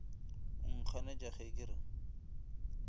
o nkganetša ge ke re